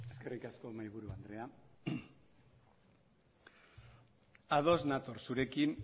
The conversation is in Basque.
eskerrik asko mahaiburu andrea ados nator zurekin